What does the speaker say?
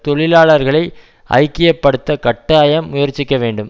தொழிலாளர்களை ஐக்கிய படுத்த கட்டாயம் முயற்சிக்க வேண்டும்